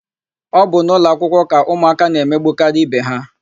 Ọ bụ n'ụlọakwụkwọ ka ụmụaka na-emegbukarị ibe ha.